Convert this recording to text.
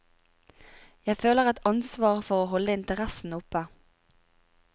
Jeg føler et ansvar for å holde interessen oppe.